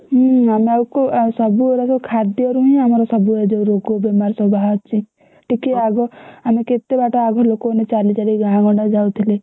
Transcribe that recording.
ହୁଁ ଆମେ ଆଉ କୋଉ ଆ~ ସବୁଗୁଡା ସବୁ ଖାଦ୍ୟରୁହିଁ ଆମର ସବୁ ଏ ଯୋଉ ରୋଗ ବେମାର ଏସବୁ ବାହାରୁଛି। ଟିକିଏ ଆଗ ଆମେ କେତେ ବାଟ ଆଘ ଲୋକମାନେ ଚାଲିଚାଲି ଗାଁ ଗଣ୍ଡା ଯାଉଥିଲେ।